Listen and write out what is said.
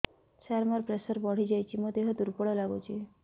ସାର ମୋର ପ୍ରେସର ବଢ଼ିଯାଇଛି ମୋ ଦିହ ଦୁର୍ବଳ ଲାଗୁଚି